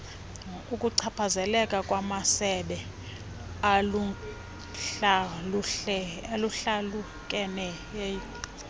ukuchaphazeleka kwamasebe ahlukahlukeneyo